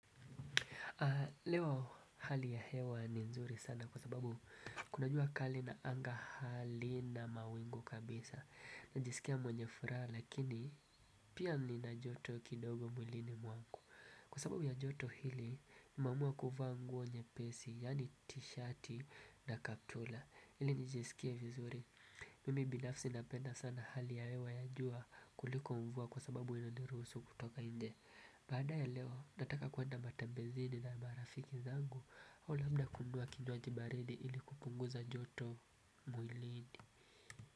Leo hali ya hewa ni nzuri sana kwa sababu kuna jua kali na anga halina mawingu kabisa. Najisikia mwenye furaha lakini pia ninajoto kidogo mwilini mwangu. Kwa sababu ya joto hili nimemaamua kuvaa nguo nyepesi yani t-shirt na kaptula ili nijisikia vizuri. Mimi binafsi napenda sana hali ya hewa ya jua kuliko mvua kwa sababu inaniruhusu kutoka nje. Baada ya leo nataka kuenda matembezini na marafiki zangu au lamda kununua kinywaji baridi ili kupunguza joto mwilini.